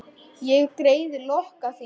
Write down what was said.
Ég greiði lokka þína.